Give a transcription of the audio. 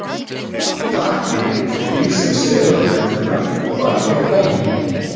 Dagdýr er dýr sem sefur á næturnar og vakir á daginn.